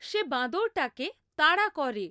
সে বাঁদরটাকে তাড়া করে।